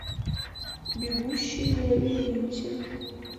бегущий в лабиринте